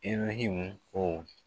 Ibrehimu